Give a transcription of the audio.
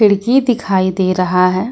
खिड़की दिखाई दे रहा है।